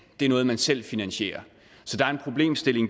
det er noget man selv finansierer